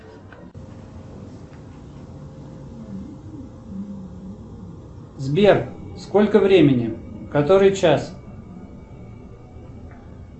сбер сколько времени который час